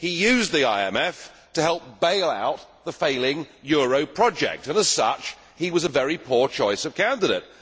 He used the IMF to help bail out the failing euro project and, as such, he was a very poor choice of candidate.